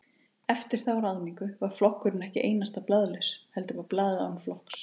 Eftir þá ráðningu var flokkurinn ekki einasta blaðlaus, heldur var blaðið án flokks.